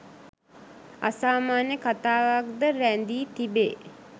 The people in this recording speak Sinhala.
අසාමාන්‍ය කතාවක්‌ ද රැඳී තිබේ